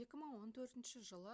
2014 жылы